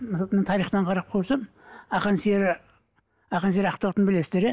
тарихтан қарап көрсем ақан сері ақан сері ақтоқтыны білесіздер иә